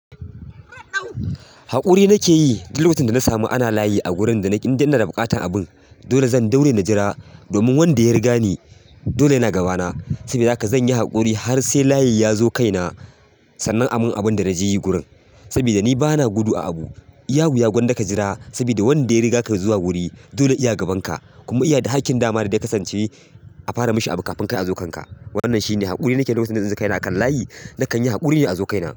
Haƙuri nake yi duk lokacin da na samu ana layi a gurin da inda ina da buƙatar abun. Dole zan ɗaure na jira domin wanda ya riga ni dole yana gaba na. Saboda haka zan yi haƙuri har sai layi ya zo kai na sannan amin abun da na je yi gurin. Saboda ni ba na gudu a abu. iya wuya gwanda ka jira saboda wanda ya riga ka zuwa guri dole ya gaban ka kuma iya da haƙƙin dama da ya kasance a fara mishi abu kafin ka zo kai na. Wannan shine haƙuri nake lokacin da na zo kai na a kan layi. Nakan yi haƙuri ne a zo kai na.